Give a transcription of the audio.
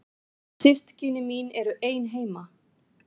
Systkini mín eru ein heima.